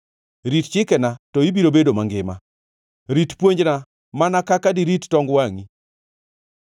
Rit chikena to ibiro bedo mangima; rit puonjna mana kaka dirit tong wangʼi.